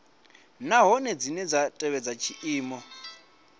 nahone dzine dza tevhedza tshiimo